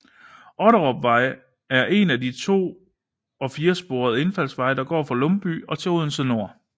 Otterupvej er en to og firesporet indfaldsvej der går fra Lumby og til Odense N